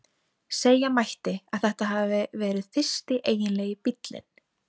Segja mætti að þetta hafi verið fyrsti eiginlegi bíllinn.